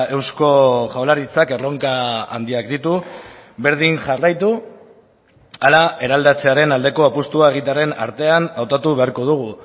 eusko jaurlaritzak erronka handiak ditu berdin jarraitu ala eraldatzearen aldeko apustua egitearen artean hautatu beharko dugu